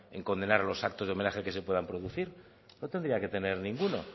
en condenar los actos de homenaje que se puedan producir no tendría que tener ninguno